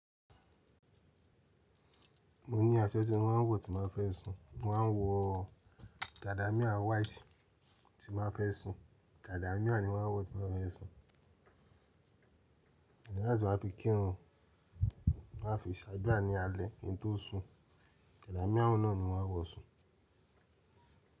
Mo ní aṣọ ti mo máa n wọ̀ tí máa fẹ́ sùn. Mo n máa ń wọ jàlámíà white tí n ba fẹ́ sùn. Jàlámíà ni mo máa ń wọ̀ tí mo ba fẹ́ sùn. Ìyẹn naa ni máa fi kírun, wọ́n á fi ṣàdúrà ní alẹ́ kí n tó sùn. Jàlámíà oun náà ni mo ma á wọ̀ sùn.